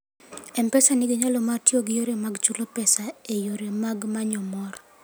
M-Pesa nigi nyalo mar tiyo gi yore mag chulo pesa e yore mag manyo mor.